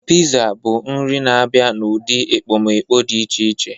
Pizza bụ nri na-abịa n'ụdị ekpomeekpo dị iche iche.